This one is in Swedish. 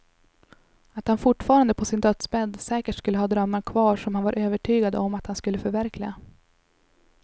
Att han fortfarande på sin dödsbädd säkert skulle ha drömmar kvar som han var övertygad om att han skulle förverkliga.